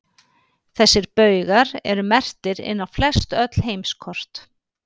Þessir baugar eru merktir inn á flestöll heimskort.